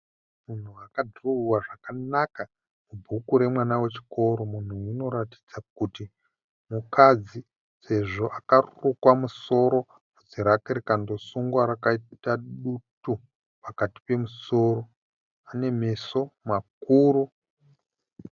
Munhu akadhirowewa zvakanaka mubhuku remwana wechikoro. Munhu uyu anoratidza kuti mukadzi sezvo akarukwa musoro bvudzi rake rikandosungwa rakaita dutu pakati pemusoro. Ane meso makuru.